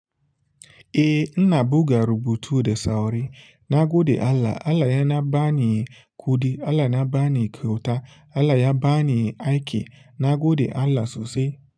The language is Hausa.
Eh, ina buga rubutu da sauri. Na gode Allah. Allah yana bani kuɗi, Allah na bani kyauta, Allah ya bani aiki. Na gode Allah sosai.